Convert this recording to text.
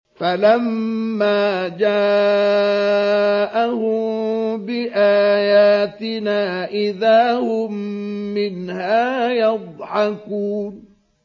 فَلَمَّا جَاءَهُم بِآيَاتِنَا إِذَا هُم مِّنْهَا يَضْحَكُونَ